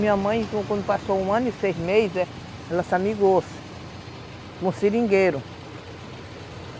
Minha mãe, quando passou um ano e seis meses, ela se amigou-se com um seringueiro.